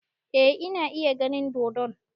Eh ina iya ganin dodon